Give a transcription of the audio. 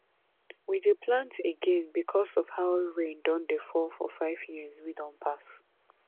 we dey plant again because of how rain don dey fall for five years wey don pass